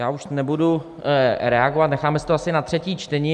Já už nebudu reagovat, necháme si to asi na třetí čtení.